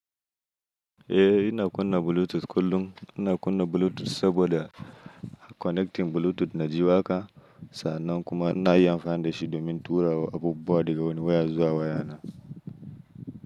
Eh ina kunna Bluetooth kullum. Ina kunna Bluetooth saboda connecting Bluetooth na ji waƙa. Sa'annan kuma ina iya amfani da shi domin tura abubuwa daga wani waya zuwa wayana.